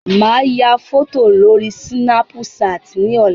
Màá ya fọ́tò lórí Sínápú ṣaàtì ní ọ̀la.